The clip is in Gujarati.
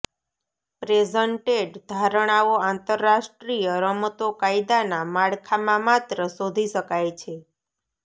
પ્રેઝન્ટેડ ધારણાઓ આંતરરાષ્ટ્રીય રમતો કાયદાના માળખામાં માત્ર શોધી શકાય છે